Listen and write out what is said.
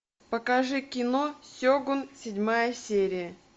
покажи кино сегун седьмая серия